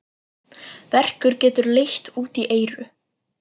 Verkur getur leitt út í eyru.